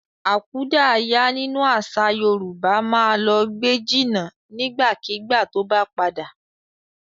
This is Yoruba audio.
Akúdàáyá nínú àṣà Yorùbá ma lọ gbé jìnà nígbàkigbà tó bá padà.